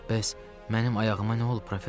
Bəs mənim ayağıma nə olub, professor?